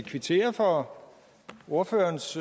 kvittere for ordførerens